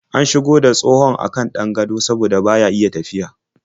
An shigo da tsohon a kan ɗan gado saboda baya iya tafiya.